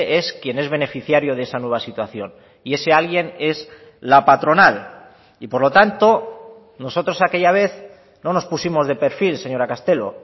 es quien es beneficiario de esa nueva situación y ese alguien es la patronal y por lo tanto nosotros aquella vez no nos pusimos de perfil señora castelo